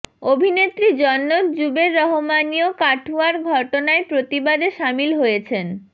অভিনেত্রী জন্নত জুবের রহমানিও কাঠুয়ার ঘটনার প্রতিবাদে সামিল হয়েছেন